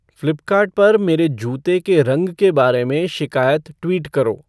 Flipkart पर मेरे जूते के रंग के बारे में शिकायत ट्वीट करो